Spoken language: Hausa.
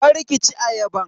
Kar ki ci ayaban.